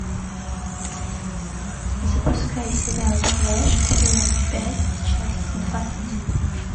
запускай сериал флэш сезон пять часть двадцать